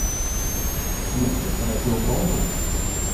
включи радиоволну